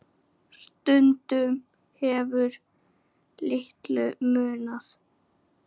Stundum hefur litlu munað.